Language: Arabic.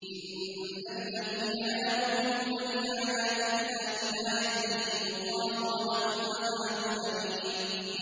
إِنَّ الَّذِينَ لَا يُؤْمِنُونَ بِآيَاتِ اللَّهِ لَا يَهْدِيهِمُ اللَّهُ وَلَهُمْ عَذَابٌ أَلِيمٌ